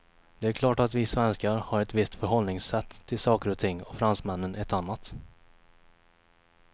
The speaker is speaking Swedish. Det är klart att vi svenskar har ett visst förhållningssätt till saker och ting, och fransmännen ett annat.